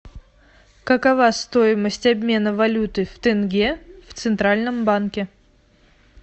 какова стоимость обмена валюты в тенге в центральном банке